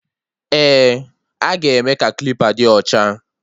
Eh, aga eme ka klipa dị ocha